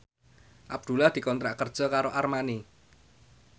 Abdullah dikontrak kerja karo Armani